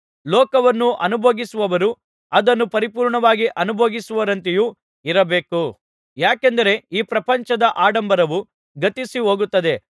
ಲೋಕವನ್ನು ಅನುಭೋಗಿಸುವವರು ಅದನ್ನು ಪರಿಪೂರ್ಣವಾಗಿ ಅನುಭೋಗಿಸದವರಂತೆಯೂ ಇರಬೇಕು ಯಾಕೆಂದರೆ ಈ ಪ್ರಪಂಚದ ಆಡಂಬರವು ಗತಿಸಿ ಹೋಗುತ್ತದೆ